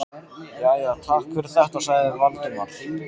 Jæja, takk fyrir þetta- sagði Valdimar.